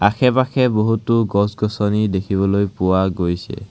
আশে পাশে বহুতো গছ গছনি দেখিবলৈ পোৱা গৈছে।